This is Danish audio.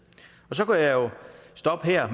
så kunne jeg jo stoppe her